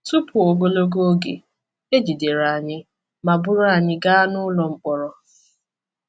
Tupu ogologo oge, e jidere anyị ma buru anyị gaa n’ụlọ mkpọrọ.